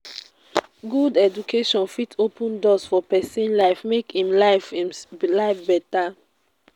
good education fit open doors for pesin life make em life em life beta.